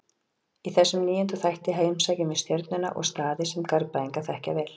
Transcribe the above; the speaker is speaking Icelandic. Í þessum níunda þætti heimsækjum við Stjörnuna og staði sem Garðbæingar þekkja vel.